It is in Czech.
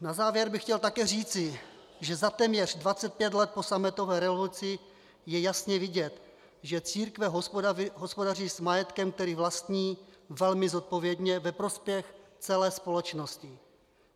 Na závěr bych chtěl také říci, že za téměř 25 let po sametové revoluci je jasně vidět, že církve hospodaří s majetkem, který vlastní, velmi zodpovědně, ve prospěch celé společnosti.